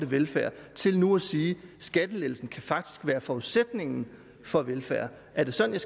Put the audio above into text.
velfærd til nu at sige at skattelettelser faktisk kan være forudsætningen for velfærd er det sådan